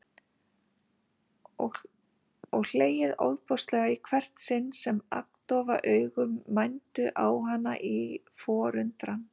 Og hlegið ofboðslega í hvert sinn sem agndofa augu mændu á hana í forundran.